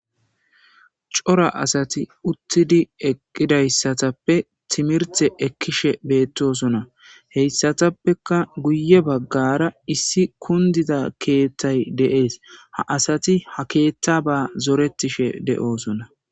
Cora asati uttidi eqqidaysatappe timirte ekkishe bettosona heyssatappeka guye baggara issi kunddida keththayi de'esi ha asati ha keththaba zirettishe de'ossona.